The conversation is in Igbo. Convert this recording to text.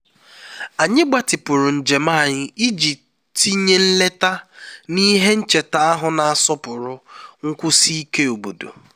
anyị gbatịpụrụ njem anyị iji tinye nleta na ihe ncheta ahụ na-asọpụrụ nkwụsi ike obodo